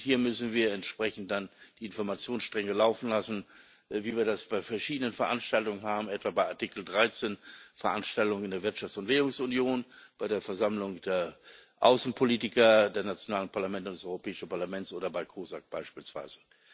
Hier müssen wir entsprechend dann die Informationsstränge laufen lassen, wie wir das bei verschiedenen Veranstaltungen haben, etwa bei Artikel 13 Veranstaltungen in der Wirtschafts und Währungsunion, bei der Versammlung der Außenpolitiker der nationalen Parlamente und des Europäischen Parlaments oder bei COSAC beispielsweise.